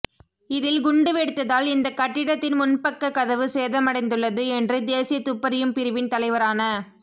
இதில் குண்டு வெடித்ததால் இந்த கட்டிடத்தின் முன்பக்கக் கதவு சேதமடைந்துள்ளது என்று தேசிய துப்பறியும் பிரிவின் தலைவரான